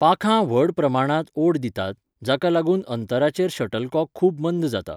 पाखां व्हड प्रमाणांत ओड दितात, जाका लागून अंतराचेर शटलकॉक खूब मंद जाता.